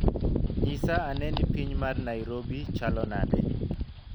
Nyisa ane ni piny mar Narobi chalo nade?